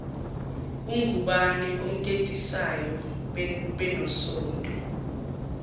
ungubane omtetisayo benosonto